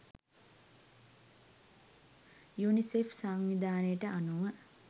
UNICEF සංවිධානයට අනුව